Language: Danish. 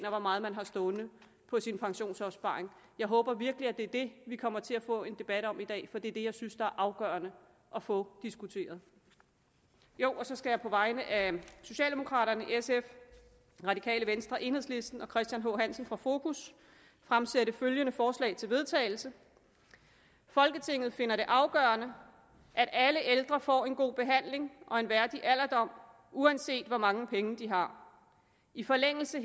og hvor meget man har stående på sin pensionsopsparing jeg håber virkelig det er det vi kommer til at få en debat om i dag for det er det jeg synes der er afgørende at få diskuteret så skal jeg på vegne af socialdemokraterne sf det radikale venstre enhedslisten og christian h hansen fra fokus fremsætte følgende forslag til vedtagelse folketinget finder det er afgørende at alle ældre får en god behandling og en værdig alderdom uanset hvor mange penge de har i forlængelse